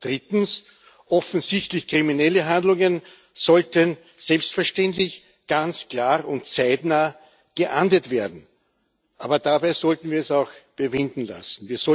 Drittens Offensichtlich kriminelle Handlungen sollten selbstverständlich ganz klar und zeitnah geahndet werden. Aber dabei sollten wir es auch bewenden lassen.